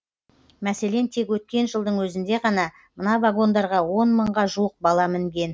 мәселен тек өткен жылдың өзінде ғана мына вагондарға он мыңға жуық бала мінген